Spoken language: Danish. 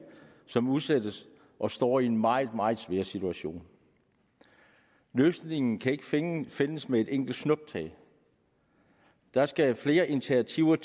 som udsættes og står i en meget meget svær situation løsningen kan ikke findes findes med et enkelt snuptag der skal flere initiativer